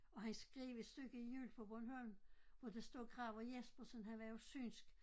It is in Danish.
Og han skrev et stykke jul på Bornholm hvor der står graver Jespersen han var jo synsk